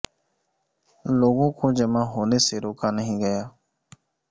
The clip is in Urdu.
لوگوں کو جمع ہونے سے روکا نہیں گیا